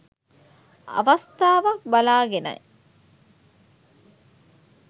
අවස්ථාවක් බලාගෙනයි